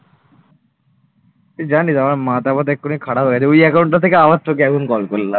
তুই জানিস আমার মাথা ফাথা এক্ষুনি খারাপ হয়ে গেছে ওই account থেকে আবার তোকে এখন call করলাম।